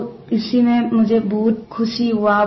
तो इसी में मुझे बहुत खुशी हुआ